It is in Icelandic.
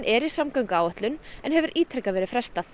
hefur ítrekað verið frestað